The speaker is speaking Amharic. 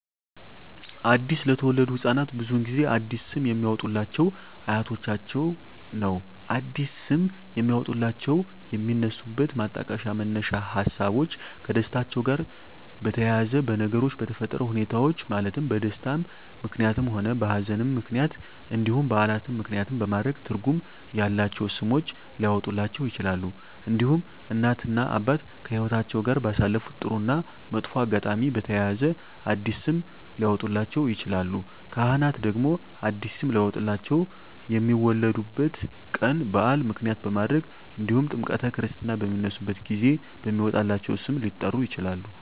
አዲስ ለተወለዱ ህፃናት ብዙውን ጊዜ አዲስ ስም የሚያወጡሏቸው አያቶቻቸውን ነው አዲስ ስም የሚያወጧላቸው የሚነሱበት ማጣቀሻ መነሻ ሀሳቦች ከደስታቸው ጋር በተያያዘ በነገሮች በተፈጠረ ሁኔታዎች ማለትም በደስታም ምክንያትም ሆነ በሀዘንም ምክንያት እንዲሁም በዓላትን ምክንያትም በማድረግ ትርጉም ያላቸው ስሞች ሊያወጡላቸው ይችላሉ። እንዲሁም እናት እና አባት ከህይወትአቸው ጋር ባሳለፉት ጥሩ እና መጥፎ አጋጣሚ በተያያዘ አዲስ ስም ሊያወጡላቸው ይችላሉ። ካህናት ደግሞ አዲስ ስም ሊያወጡላቸው የሚወለዱበት ቀን በዓል ምክንያት በማድረግ እንዲሁም ጥምረተ ክርስትና በሚነሱበት ጊዜ በሚወጣላቸው ስም ሊጠሩ ይችላሉ።